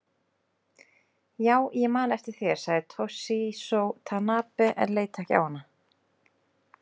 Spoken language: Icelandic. Já ég man eftir þér, sagði Toshizo Tanabe en leit ekki á hana.